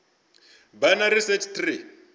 binary search tree